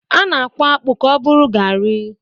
A na-akwọ akpụ ka ọ bụrụ Gari.